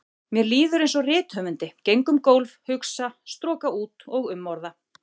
Mér líður einsog rithöfundi, geng um gólf, hugsa, stroka út og umorða.